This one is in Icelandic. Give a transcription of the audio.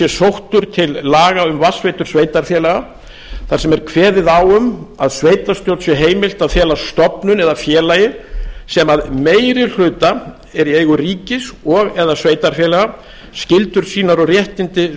sóttur til laga um vatnsveitur sveitarfélaga þar sem er kveðið á um að sveitarstjórn sé heimilt að fela stofnun eða félagi sem að meiri hluta er í eigu ríkis og eða sveitarfélaga skyldur sínar og réttindi